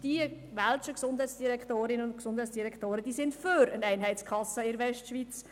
Die welschen Gesundheitsdirektorinnen und Gesundheitsdirektoren sind für eine Einheitskasse in der Westschweiz.